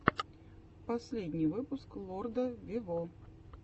последний выпуск лорда вево